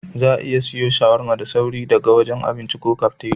Za'a iya siwo shawarma da sauri daga wajen abinci ko kafteriya.